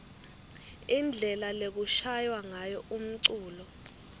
indlela lekushaywa ngayo umculo